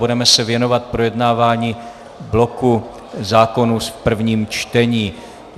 Budeme se věnovat projednávání bloku zákonů v prvním čtení.